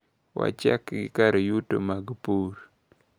Wachak gi kar yuto mag pur.